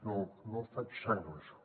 no faig sang amb això